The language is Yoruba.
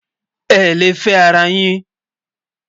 é lè fé ará yín